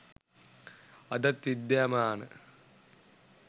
අදත් විද්‍යාමාන